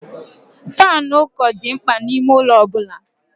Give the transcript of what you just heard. Faanụ ụkọ dị mkpa n'ime ụlọ ọ bụla.